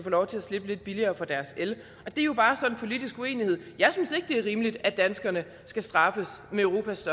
lov til at slippe lidt billigere for deres el og det er jo bare sådan en politisk uenighed jeg synes ikke det er rimeligt at danskerne skal straffes med europas